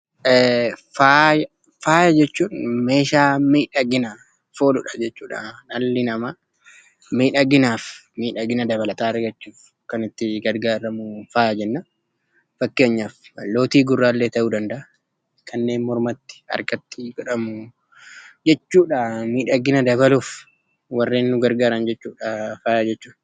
Faayya. Faayya jechuun meeshaa miidhaginaaf oolu jechuu dha. Dhalli namaa miidhagina dabalataan argachuuf kan itti gargaaramu faayya jenna. Fakkeenyaaf lootii gurraa ta'uu danda'a, kanneen harkattis godhamu ta'uu mala warreen miidhagina wanta tokkoo dabaluuf oolan faayya jenna.